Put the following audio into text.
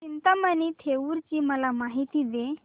चिंतामणी थेऊर ची मला माहिती दे